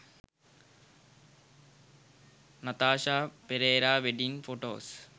nathasha perera wedding photos